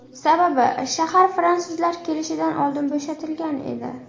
Sababi, shahar fransuzlar kelishidan oldin bo‘shatilgan edi.